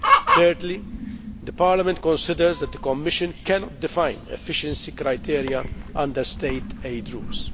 Thirdly, Parliament considers that the Commission cannot define efficiency criteria under state aid rules.